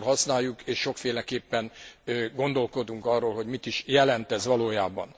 Sokszor használjuk és sokféleképpen gondolkodunk arról, hogy mit is jelent ez valójában.